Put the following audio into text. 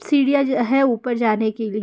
सीढ़ियां ज है ऊपर जाने के लिए।